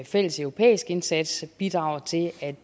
fælles europæisk indsats bidraget til at